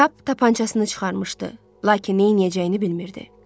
Kap tapançasını çıxarmışdı, lakin neyləyəcəyini bilmirdi.